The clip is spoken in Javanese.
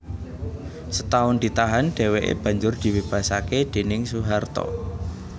Setahun ditahan dhèwèké banjur dibebasaké déning Soeharto